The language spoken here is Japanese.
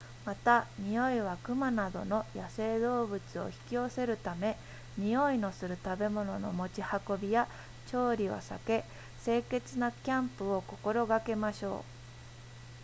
また匂いは熊などの野生動物を引き寄せるため匂いのする食べ物の持ち運びや調理は避け清潔なキャンプを心がけましょう